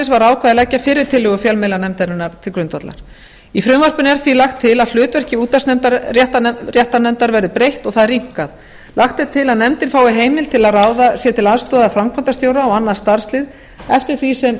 var ákveðið að leggja fyrri tillögu fjölmiðlanefndarinnar til grundvallar í frumvarpinu er því lagt til að hlutverki útvarpsréttarnefndar verði breytt og það rýmkað lagt er til að nefndin fái heimild til að ráða sér til aðstoðar framkvæmdastjóra og annað starfslið eftir því sem